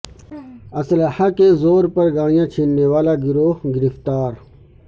اسلحے کے زور پر گاڑیاں چھیننے والا گروہ گرفتار